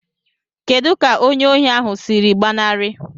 Kedu ka onye ohi ahụ siri gbanarị?